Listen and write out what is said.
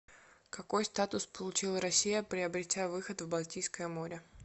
какой статус получила россия приобретя выход в балтийское море